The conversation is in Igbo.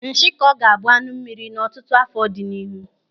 Nshikọ ga-abụ anụ mmiri n'ọtụtụ áfọ̀ dị n'ihu.